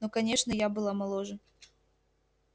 ну конечно я была моложе